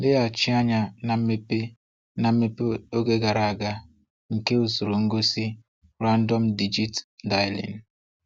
leghachi anya na mmepe na mmepe oge gara aga nke usoro ngosi random-digit-dialing.